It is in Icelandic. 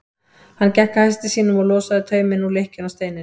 Hann gekk að hesti sínum og losaði tauminn úr lykkjunni á steininum.